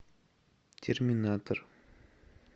терминатор